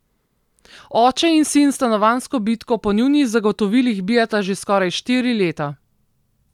Oče in sin stanovanjsko bitko po njunih zagotovilih bijeta že skoraj štiri leta.